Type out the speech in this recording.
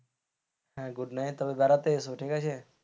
হ্যাঁ good night তবে বেড়াতে এসো ঠিক আছে.